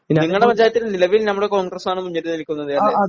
നിങ്ങളുടെ പഞ്ചായത്തിൽ നിലവിൽ നമ്മുടെ കോൺഗ്രസാണ് മുന്നിട്ടുനിൽക്കുന്നത് അല്ലേ?